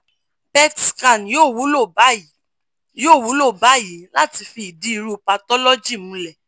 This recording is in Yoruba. pet scan yoo wulo bayii yoo wulo bayii lati fi idi iru pathology mulẹ